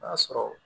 O y'a sɔrɔ